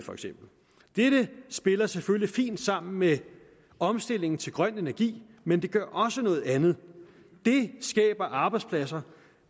dette spiller selvfølgelig fint sammen med omstillingen til grøn energi men det gør også noget andet det skaber arbejdspladser